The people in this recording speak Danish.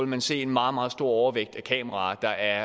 man se en meget meget stor overvægt af kameraer der